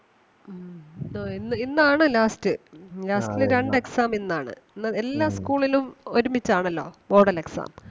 ഉം ആഹ് ഇന്ന് ഇന്നാണ് last last ലെ രണ്ട് exam ഇന്നാണ് ല്ലാ എല്ലാ school ലും ഒരുമിച്ചാണല്ലോ model exam.